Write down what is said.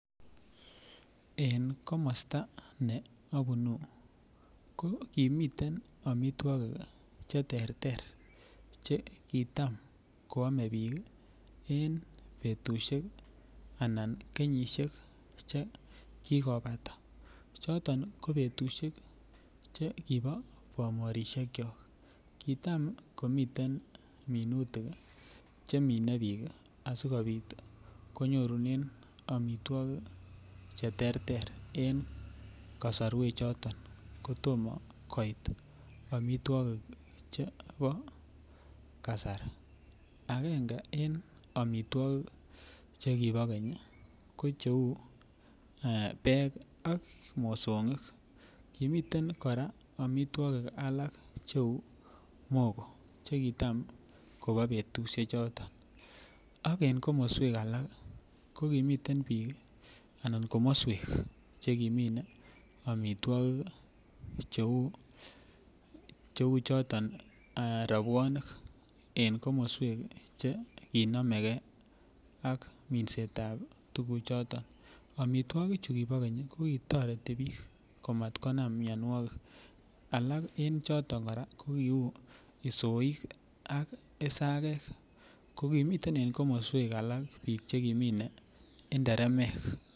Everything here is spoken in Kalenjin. En komosta ne abunu ko kimiten amitwogik Che terter Che kitam koame bik en keny en betusiek anan kenyisiek Che kikobata choton ko betusiek Che kibo bomorisiekyok kitam komiten minutik Che mine bik asikobit konyorunen amitwogik Che terter en kasarwechoto kotomo amitwogik Che bo kasari agenge en amitwogik Che kibo keny ko cheu Beek ak mosongik kimiten kora amitwogik alak cheu mogoo Che kitam kobo betusiechoto ko en komoswek alak ko kimiten bik Anan komoswek Che kimine amitwogik cheu choto robwonik en komoswek Che kinome ge ak minsetab tuguchoto amitwogik Che kibo keny ko ki toreti bik komat konam mianwogik alak en choto kora ko kiu isoik ak I sagek ko kimiten en komoswek alak bik Che kimine nderemek